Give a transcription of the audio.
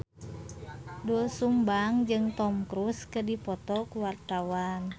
Doel Sumbang jeung Tom Cruise keur dipoto ku wartawan